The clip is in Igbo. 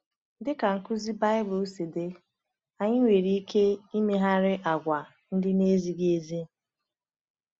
Dị ka nkuzi Baịbụl si dị, anyị nwere ike imegharị àgwà ndị na-ezighị ezi.